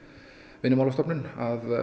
Vinnumálastofnun að